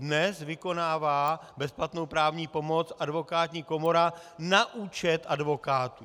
Dnes vykonává bezplatnou právní pomoc advokátní komora na účet advokátů.